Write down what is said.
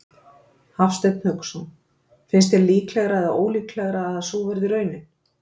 Hafsteinn Hauksson: Finnst þér líklegra eða ólíklegra að sú verði raunin?